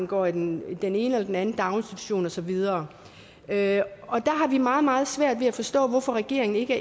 går i den den ene eller den anden daginstitution og så videre der har vi meget meget svært ved at forstå hvorfor regeringen ikke